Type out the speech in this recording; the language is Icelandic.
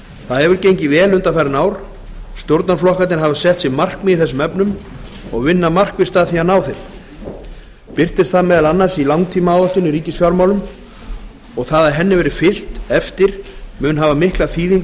það hefur gengið vel undanfarin ár stjórnarflokkarnir hafa sett sér markmið í þessum efnum og vinna markvisst að því að ná þeim birtist það meðal annars í langtímaáætlun í ríkisfjármálum og það að henni verði fylgt eftir mun hafa mikla þýðingu